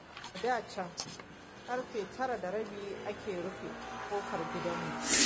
A da can ƙarfe tara da rabi ake rufe ƙofar gidanmu.